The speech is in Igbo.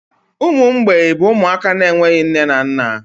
Ụmụ mgbei bụ ụmụaka na-enweghị nne na nna.